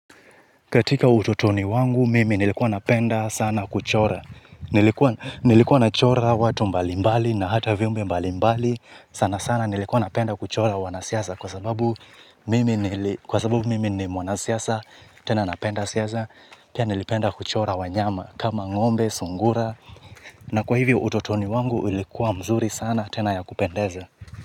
Katika utotoni wangu mimi nilikuwa napenda sana kuchora. Nilikuwa nachora watu mbalimbali na hata viumbe mbalimbali, sana sana nilikuwa napenda kuchora wanasiasa kwa sababu mimi ni mwanasiasa, tena napenda siasa. Pia, nilipenda kuchora wanyama kama ng'ombe, sungura. Na kwa hivyo utotoni wangu ilikuwa mzuri sana tena ya kupendeza.